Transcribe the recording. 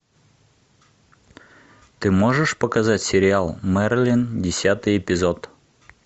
ты можешь показать сериал мерлин десятый эпизод